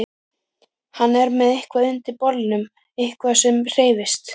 Hann er með eitthvað undir bolnum, eitthvað sem hreyfist.